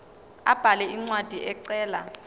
abhale incwadi ecela